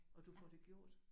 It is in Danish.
Og du får det gjort?